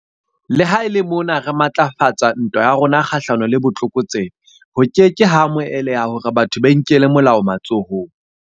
Le ha e le mona re matlafatsa ntwa ya rona kgahlano le botlokotsebe, ho ke ke ha amoheleha hore batho ba inkele molao matsohong.